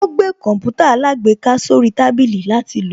Ó gbé Kọǹpútà alágbèéká sórí tábìlì látil lò